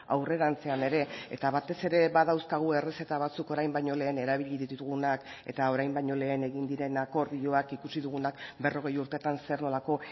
aurrerantzean ere eta batez ere badauzkagu errezeta batzuk orain baino lehen erabili ditugunak eta orain baino lehen egin diren akordioak ikusi dugunak berrogei urtetan zer nolako